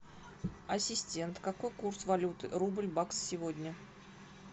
ассистент какой курс валюты рубль бакс сегодня